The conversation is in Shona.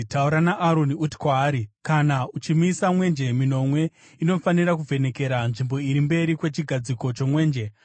“Taura naAroni uti kwaari, ‘Kana uchimisa mwenje minonwe, inofanira kuvhenekera nzvimbo iri mberi kwechigadziko chomwenje.’ ”